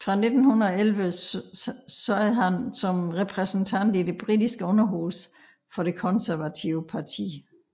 Fra 1911 sad han som repræsentant i det britiske underhus for det konservative parti